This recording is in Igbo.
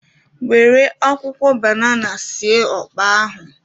Nwere akwụkwọ banana sie ọkpa ahụ.